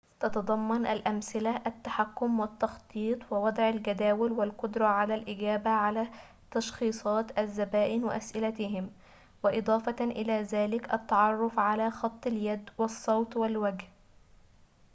تتضمن الأمثلة التحكم والتخطيط ووضع الجداول والقدرة على الإجابة على تشخيصات الزبائن وأسئلتهم وإضافة إلى ذلك التعرف على خط اليد والصوت والوجه